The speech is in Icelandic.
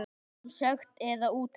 Sem sekt eða úttekt?